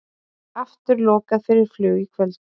Aftur lokað fyrir flug í kvöld